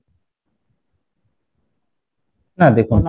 না দেখুন